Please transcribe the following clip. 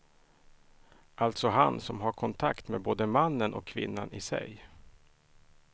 Alltså han som har kontakt med både mannen och kvinnan i sig.